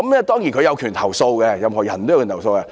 當然，他們有權投訴，任何人也有權投訴。